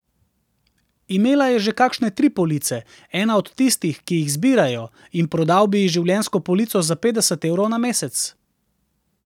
Imela je že kakšne tri police, ena od tistih, ki jih zbirajo, in prodal bi ji življenjsko polico za petdeset evrov na mesec.